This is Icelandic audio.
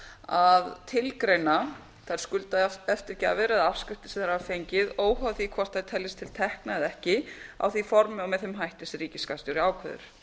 að tilgreina þær skuldaeftirgjafir eða afskriftir sem þeir hafa fengið óháð því hvort þær teljist til tekna eða ekki á því formi og með þeim hætti sem ríkisskattstjóri ákveður